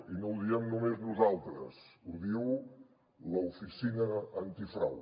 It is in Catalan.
i no ho diem només nosaltres ho diu l’oficina antifrau